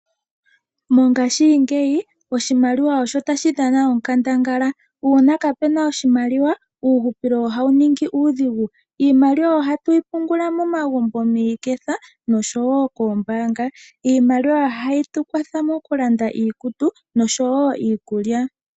Mongaashingeyi oshimaliwa osho tashi dhana onkandangala uuna kapena oshimaliwa uuhupilo ohawu ningi uudhigu. Iimaliwa ohatu yi pungula momagumbo miiketha noshowo koombanga. Iimaliwa ohayi tu kwatha mokulanda iikutu noshowo iikulya.